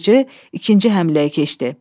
Yırtıcı ikinci həmləyə keçdi.